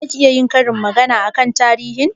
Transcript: Za ki iya yin karin bayani akan tarihin?